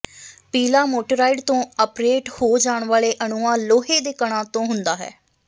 ਪੀਲਾ ਮੋਟੇਰਾਇਡ ਤੋਂ ਆਪ੍ਰੇਟ ਹੋ ਜਾਣ ਵਾਲੇ ਅਣੂਆ ਲੋਹੇ ਦੇ ਕਣਾਂ ਤੋਂ ਹੁੰਦਾ ਹੈ